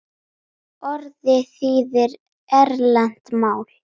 Orðið þýðir erlent mál.